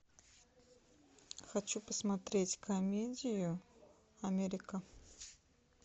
хочу посмотреть комедию америка